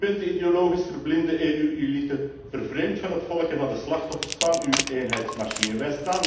U bent de ideologisch verblinde EU elite, vervreemd van het volk en van de slachtoffers van uw eenheidsmachine.